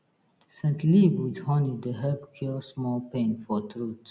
scent leaf with honey dey help cure small pain for throat